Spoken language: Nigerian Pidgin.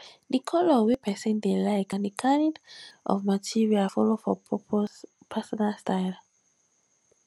di color wey person dey like and di kind of material follow for personal style